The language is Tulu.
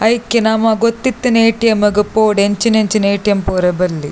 ಐಕೆ ನಮ ಗೊತ್ತಿತಿನ ಎ.ಟಿ.ಎಮ್ ಗು ಪೋವೊಡು ಎಂಚಿನೆಂಚಿನ ಎ.ಟಿ.ಎಮ್ ಪೋಯೆರೆ ಬಲ್ಲಿ.